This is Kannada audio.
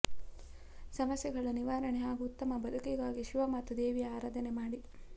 ಸಮಸ್ಯೆಗಳ ನಿವಾರಣೆ ಹಾಗೂ ಉತ್ತಮ ಬದುಕಿಗಾಗಿ ಶಿವ ಮತ್ತು ದೇವಿಯ ಆರಾಧನೆ ಮಾಡಿ